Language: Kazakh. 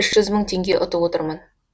үш жүз мың теңге ұтып отырмын